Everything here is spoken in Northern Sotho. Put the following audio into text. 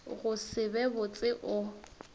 go se be botse o